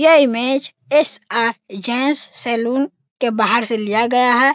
यह image S R. Gents saloon के बाहर से लिया गया है।